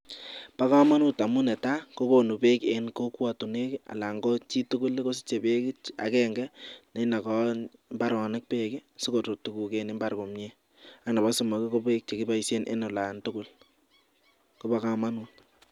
Ba kamanut amun netaikokonh bek en kokwatunwek anan chitugul kosiche bek agenge nenaka imbaronik bek sikorut tuguk en imbar komie ak Nebo somok ko bek chekibaishen en olantugul Koba kamanut